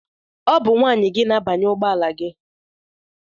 Ọ bụ nwunye gị na-agbanye ugbọala gị.